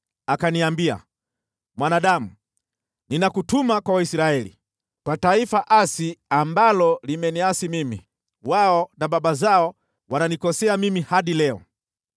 Akaniambia: “Mwanadamu, ninakutuma kwa Waisraeli, kwa taifa asi ambalo limeniasi mimi, wao na baba zao wananikosea mimi hadi leo.